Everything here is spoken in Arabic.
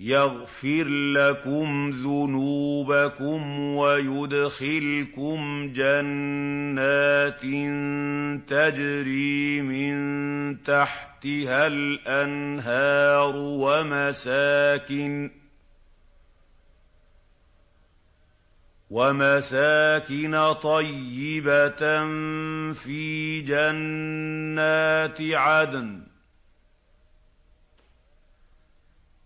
يَغْفِرْ لَكُمْ ذُنُوبَكُمْ وَيُدْخِلْكُمْ جَنَّاتٍ تَجْرِي مِن تَحْتِهَا الْأَنْهَارُ وَمَسَاكِنَ طَيِّبَةً فِي جَنَّاتِ عَدْنٍ ۚ